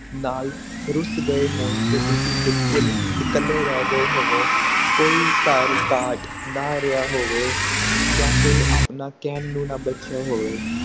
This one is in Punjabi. ਨਾਲ ਰੁਸ ਗਏ ਹੋਣ ਤੇ ਤੁਸੀਂ ਬਿਲਕੁਲ ਇੱਕਲੇ ਰਹਿ ਗਏ ਹੋਵੋ ਕੋਈ ਕਾਲ ਕੱਢ ਨਾ ਰਿਹਾ ਹੋਵੇ ਜਾ ਕੋਈ ਆਪਣਾ ਕਹਿਣ ਨੂੰ ਨਾ ਬੱਚਿਆਂ ਹੋਵੇ